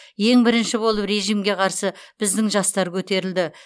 ең бірінші болып режімге қарсы біздің жастар көтерілді